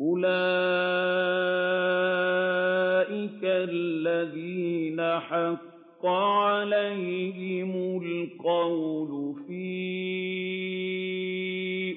أُولَٰئِكَ الَّذِينَ حَقَّ عَلَيْهِمُ الْقَوْلُ فِي